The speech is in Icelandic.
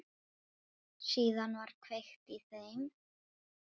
Síðan var kveikt í þeim.